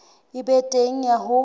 e be teng ya ho